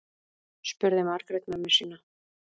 spurði margrét mömmu sína